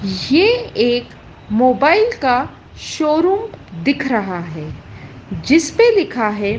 ये एक मोबाइल का शोरूम दिख रहा है जिसपे लिखा है।